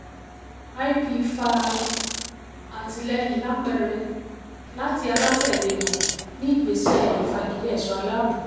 lp fa àtìlẹ́yìn lápẹẹrẹ láti alátẹ̀lẹ́ wọn ní ìgbésẹ ìfagilè ẹ̀ṣọ́ aláàbò.